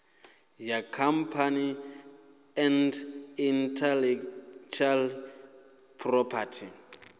ya companies and intellectual property